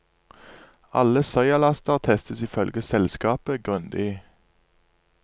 Alle soyalaster testes ifølge selskapet grundig.